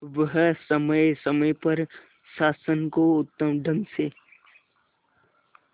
वह समय समय पर शासन को उत्तम ढंग से